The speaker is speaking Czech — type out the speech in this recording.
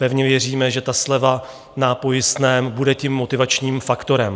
Pevně věříme, že ta sleva na pojistném bude tím motivačním faktorem.